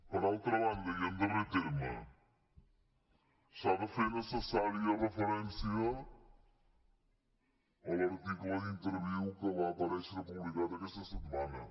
per altra banda i en darrer terme s’ha de fer necessària referència a l’article d’interviú que va aparèixer publicat aquesta setmana